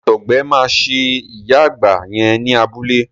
Àtọgbẹ máa ṣe ìyá àgbà yẹn ní abúlé.